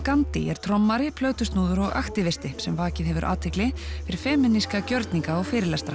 Gandhi er trommari plötusnúður og sem vakið hefur athygli fyrir femíníska gjörninga og fyrirlestra